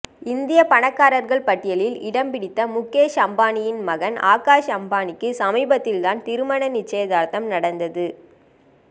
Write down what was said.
இந்திய பணக்காரர்கள் பட்டியலில் இடம்பிடித்த முகேஷ் அம்பானியின் மகன் ஆகாஷ் அம்பானிக்கு சமீபத்தில் தான் திருமண நிச்சயதார்த்தம் நடந்தது